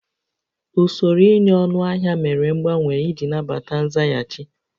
Usoro ịnye ọnụahịa mere mgbanwe iji nabata nzaghachi